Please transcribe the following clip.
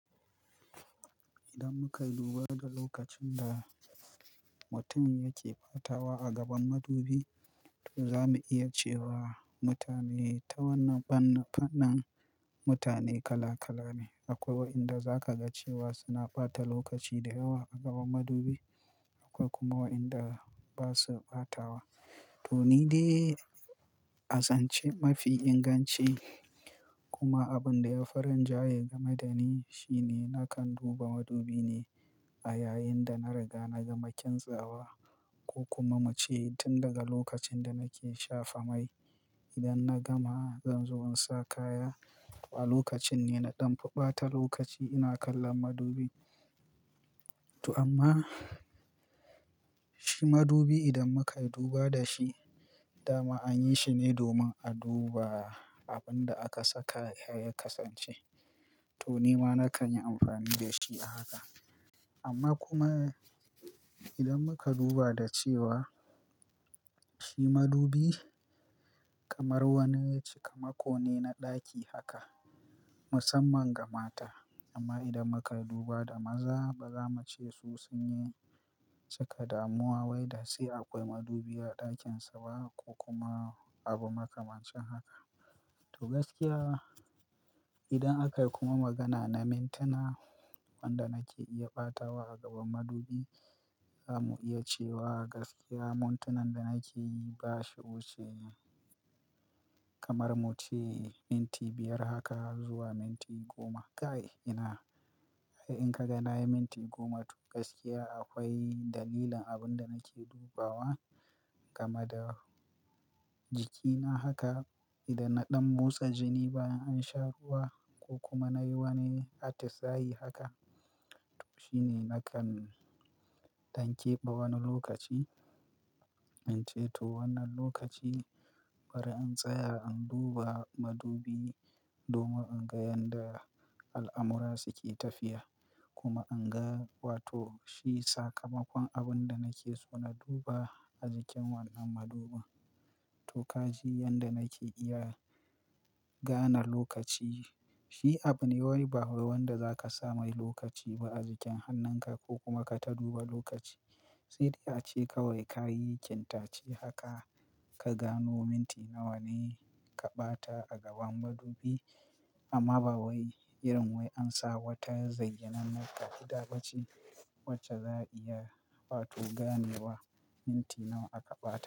Idan muka duba da lokacin da mutum yake ɓatawa a gaban madubi, to za mu iya cewa mutane ta wannan fannin mutane kala kala ne. Akwai wa inda zakaga cewa suna ɓata lokaci da yawa a gaban madubi. Akwai kuma wa inda ba su ɓatawa. To ni dai, a zan ce mafi inganci kuma abinda yafi rinjaye game da ni shine nakan duba madubi ne a yayin da na riga na gama kintsa wa ko kuma mu ce tun daga lokacin da nake shafa mai. Idan na gama zanzo insa kaya a lokacin ne na ɗan fa ɓata lokaci ina kallon madubi. To amma shi madubi idan muka duba da shi dama anyi shi ne domin a duba abinda aka saka ya ya kasance. To nima nakan yi amfani dashi a haka. Amma kuma idan muka duba da cewa shi madubi kamar wani cikamako ne na ɗaki haka musamman ga mata. Amma idan muka duba da maza ba zamu ce su sun cika damuwa wai da sai akwai madubi a ɗakinsu ba ko kuma abu makamancin haka. To gaskiya idan akayi kuma magana na mintuna wanda nake iya ɓatawa a gaban madubi, zamu iya cewa gaskiya mintunan da nake yi bashi wuce kamar muce minti biyar haka zuwa minti goma. Kai ina, in kaga nayi minti goma to gaskiya akwai dalilin abinda nake dubawa game da jikina haka. To amma shi madubi idan muka duba dashi dama anyi shi ne domin a duba abinda aka saka ya kasance. Ince to wannan lokaci bari in tsaya in duba madubi domin inga yadda al'amura suke tafiya kuma inga wato shi sakamakon abinda nake so na duba a jikin wannan madubin. To kaji yadda nake iya gane lokaci. Shi abune wai ba wanda zakasa mai lokaci ba a jikin hannunka ko kuma ka ta duba lokaci. Sai dai ace kawai kayi ƙintace haka ka gano minti nawa ne ka ɓata a gaban madubi. Amma ba wai irin wai an sa wata zayyanan ka'ida bace wacce za a iya wato gane wa minti nawa aka ɓata.